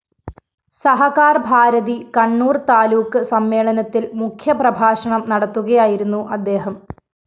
സഹകാര്‍ഭാരതി കണ്ണൂര്‍ താലൂക്ക് സമ്മേളനത്തില്‍ മുഖ്യപ്രഭാഷണം നടത്തുകയായിരുന്നു അദ്ദേഹം